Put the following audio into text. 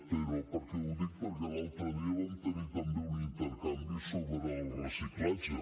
però per què ho dic perquè l’altre dia vam tenir també un intercanvi sobre el reciclatge